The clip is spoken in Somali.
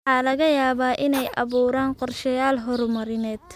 Waxa laga yaabaa inay abuuraan qorshayaal horumarineed.